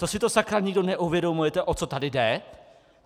To si to, sakra, nikdo neuvědomujete, o co tady jde?